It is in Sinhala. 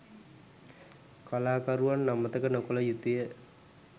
කලාකරුවන් අමතක නොකළ යුතුය